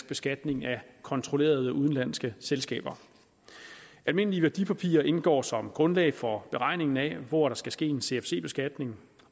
beskatning af kontrollerede udenlandske selskaber almindelige værdipapirer indgår som grundlag for beregningen af hvor der skal ske en cfc beskatning